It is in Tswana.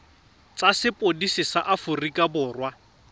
tsa sepodisi sa aforika borwa